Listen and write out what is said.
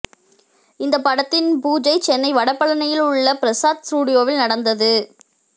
இந்தப் படத்தின் பூஜை சென்னை வட பழனியில் உள்ள பிரசாத் ஸ்டூடியோவில் நடந்தது